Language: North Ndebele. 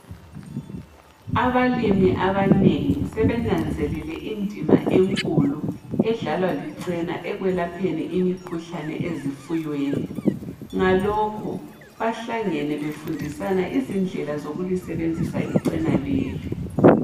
Abalii abanengi sebenanzelele indima enkulu edlalwa licena ekwelapheni izifuyo ngalokho bahlangene befundisa indlela zokuli sebenzisa icena leli